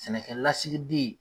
Sɛnɛkɛ lasigiden